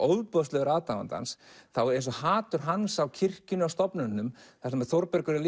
ofboðslegur aðdáandi hans þá er eins og hatur hans á kirkjunni og stofnunum þar sem Þórbergur er